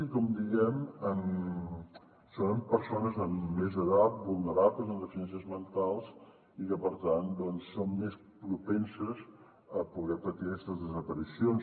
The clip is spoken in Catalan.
i com diem són persones de més edat vulnerables amb deficiències mentals i que per tant són més propenses a poder patir aquestes desaparicions